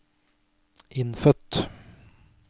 innfødt